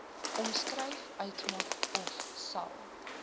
omskryf uitmaak ofsal